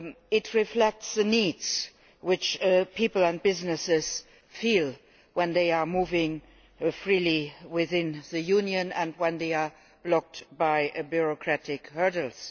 It reflects the needs which people and businesses feel when they are moving freely within the Union and are blocked by bureaucratic hurdles.